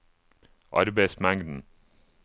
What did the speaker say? arbeidsmengden